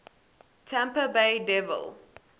tampa bay devil